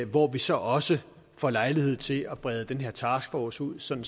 hvor vi så også får lejlighed til at brede den her taskforce ud sådan